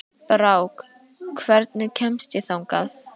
Brák, hvernig kemst ég þangað?